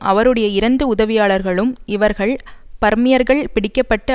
அவருடைய இரண்டு உதவியாளர்களும் இவர்கள் பர்மியர்கள் பிடிக்க பட்டு